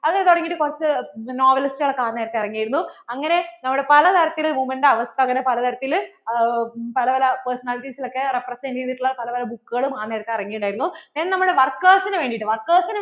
അത് തുടങ്ങിയിട്ട് കുറച്ചു novelist കളൊക്കെ ആ നേരത്തു ഇറങ്ങിയിരുന്നു അങ്ങനെ നമ്മുടെ പല തരത്തിൽ women ന്‍റെ അവസ്ഥ അങ്ങനെ പല തരത്തിൽ പല പല personalities ഒക്കെ represent ചെയ്തിട്ടുള്ള പല പല book ആ നേരത്തു ഇറങ്ങിയിട്ട് ഉണ്ടായിരുന്നു. നമ്മുടെ workers നു വേണ്ടിട്ട് workers